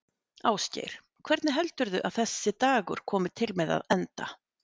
Ásgeir: Hvernig heldurðu að þessi dagur komi til með að enda?